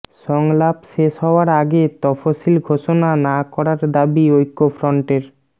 সংলাপ শেষ হওয়ার আগে তফসিল ঘোষণা না করার দাবি ঐক্যফ্রন্টের